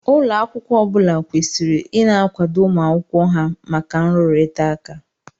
Ụlọ akwụkwọ ọbula kwesịrị ina akwado ụmụ akwụkwọ ha maka nrurita ụka